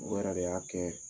O yɛrɛ de y'a kɛ